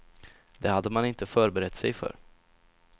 Det hade man inte förberett sig för.